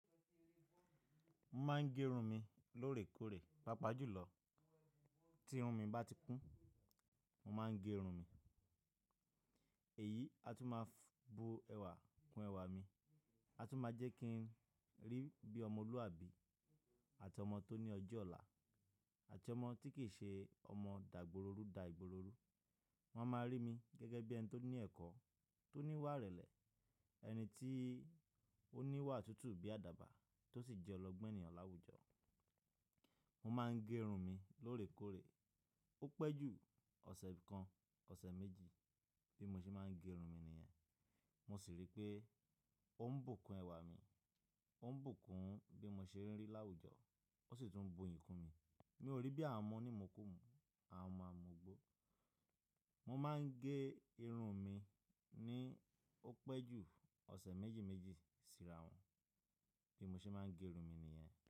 Mo máa ń gé run mi lóòrèkóòrè, pàápàá jùlọ tí irun mi bá ti kún, mo máa ń gé irun mi. Èyí, a tún máa bu ẹwà kún ẹwà mi. A tun ma je ki n ri bi omoluabi, omo to ni ojo ola, ati omo ti ki se omo da igboro ru da igboro ru. Wọ́n a máa rí mi gẹ́gẹ́ bí ẹni tó ní ẹ̀kọ́, tó níwà ìrẹ̀lẹ̀, ẹni tí ó níwà tútù bí àdàbà tó sì jẹ́ ọlọ́gbọ́n ènìyàn láwùjọ. Mo máa ń gé irun mi lóòrèkóòrè, ó pẹ́ jù ọ̀sẹ̀ kan, ọ̀sẹ̀ méjì, bí mo ṣe máa ń gé irun mi nìyẹn. Mo sì rí pé ó ń bùkún ẹwà mi, ó ń bùkún bí mo ṣe ń rí láwùjọ ó sì tún bu iyìn kún mi. Mi ò rí beer mu nimukumu àwọn ọmọ amugbo. Mo máa ń gé irun mi ní ó pẹ́ jù ọ̀sẹ̀ méjì méjì sí ràwọ̀n bí mo ṣe máa ń gé irun mi nìyẹn.